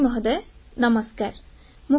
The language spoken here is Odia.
ପ୍ରଧାନମନ୍ତ୍ରୀ ମହୋଦୟ ନମସ୍କାର